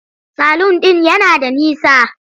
Salun ɗin yana da nisa.